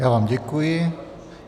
Já vám děkuji.